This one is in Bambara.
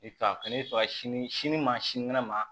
sini ma sini kɛnɛ ma